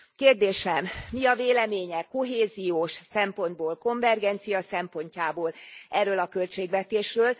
Kérdésem mi a véleménye kohéziós szempontból, a konvergencia szempontjából erről a költségvetésről?